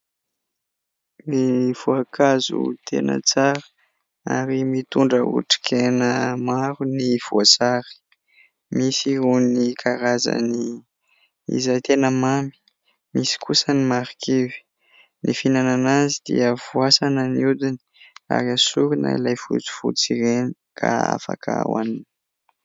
Ny voankazo tena tsara ary mitondra otrikaina maro ny voasary. Misy irony karazany izay tena mamy, misy kosa ny marikivy. Ny fihinana azy dia voasana ny hodiny ary esorina ilay fotsifotsy ireny ka afaka hohanina.